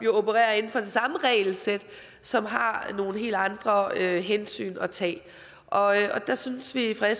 opererer inden for det samme regelsæt som har nogle helt andre hensyn at tage og der synes vi fra